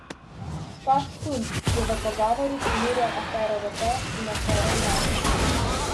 Škof Štumpf je v pogovoru primerjal afero Rode in afero Uran.